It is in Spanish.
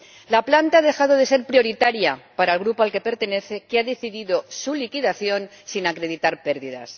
La planta ha dejado de ser prioritaria para el grupo al que pertenece, que ha decidido su liquidación sin acreditar pérdidas.